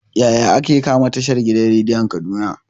Yaya ake kama tashan gidan rediyon kaduna?